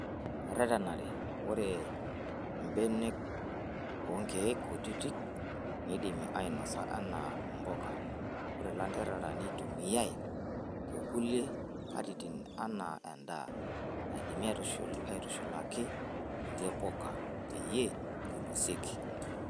Eretenare :Ore mbenekonkiek kutiti neidimi ainosa enaa mbuka, ore ilanterera neitumiae tekulie katitin enaa endaa naidimi aitushulaki kulie puka peyie einosieki.